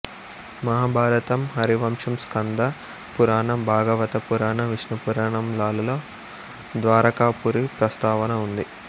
మహాభారతం హరివంశం స్కంద పురాణం భాగవత పురాణం విష్ణు పురాణం లాలలో ద్వారకాపురి ప్రస్తావన ఉంది